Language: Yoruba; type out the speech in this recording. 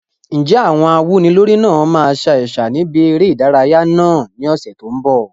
Ǹjẹ́ àwọn awúnilórí náà máa sa ẹ̀sà níbi eré ìdárayá náà ní ọ̀sẹ̀ tó ń bọ̀?